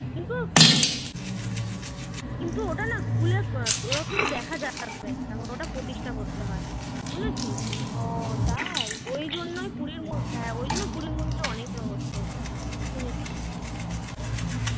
কিন্তু ওটা না খুলেও কিন্তু দেখা যাবে না. তারপর ওটা প্রতিষ্ঠা করতে হয়. বুঝেছিস? ওই তাই জন্যই পুরীর হ্যাঁ ওই জন্যই পুরীর মন্দিরটা অনেক রহস্য. শুনেছি.